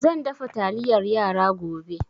Zan dafa taliyar yara gobe